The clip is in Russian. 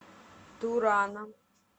турана